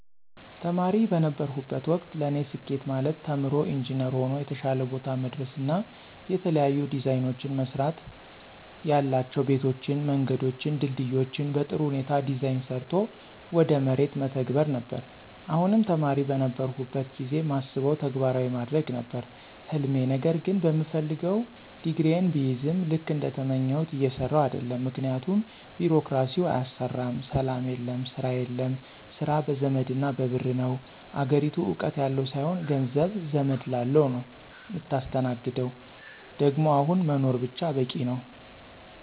ተማሪ በነበርሁበት ወቅት ለኔ ስኬት ማለት ተምሮ ኢንጅነር ሆኖ የተሻለ ቦታ መድረስና የተለያዩ ዲዛይኖችን መስራትያላቸው ቤቶችን፣ መንገዶችን፣ ድልድዮችን በጥሩ ሁኔታ ዲዛይን ሰርቶ ወደ መሬት መተግበር ነበር፣ አሁንም ተማሪ በነበርሁበት ጊዜ ማስበውን ተግባራዊ ማድረግ ነበር ህልሜ ነገር ግን በምፈልገው ዲግሪየን ብይዝም ልክ እንደተመኘሁት እየሰራሁ አደለም ምክንያቱም ቢሮክራሲው አያሰራም፣ ሰላም የለም፣ ስራ የለም፣ ስራ በዘመድና በብር ነው፣ አገሪቱ እውቀት ያለው ሳይሆን ገንዘብ፣ ዘመድ ላለው ነው ምታስተናግደው ደግሞ አሁን መኖር ብቻ በቂ ነው።